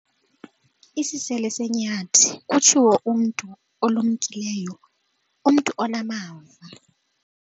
Isisele senyathi, kutshiwo umntu olumkileyo umntu onamava.